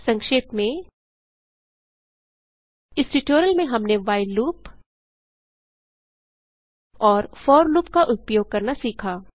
संक्षेप में इस ट्यूटोरियल में हमने व्हाइल लूप और फोर लूप का उपयोग करना सीखा